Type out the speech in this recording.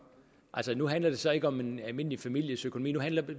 nu handler det så ikke om en almindelig families økonomi nu handler det